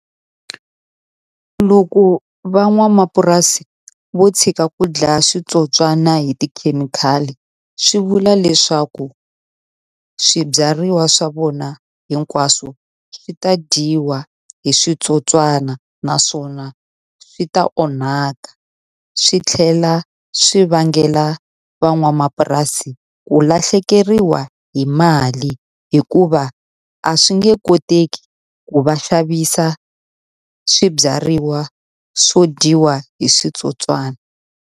Loko van'wamapurasi vo tshika ku dlaya switsotswani hi tikhemikhali, swi vula leswaku swibyariwa swa vona hinkwaswo swi ta dyiwa hi switsotswana. Naswona swi ta onhaka swi tlhela swi vangela van'wamapurasi ku lahlekeriwa hi mali, hikuva a swi nge koteki ku va xavisa swibyariwa swo dyiwa hi switsotswani.